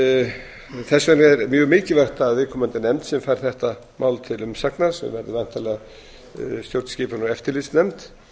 þess vegna er mjög mikilvægt að viðkomandi nefnd sem fær þetta mál til umsagnar sem verður væntanlega stjórnskipunar og eftirlitsnefnd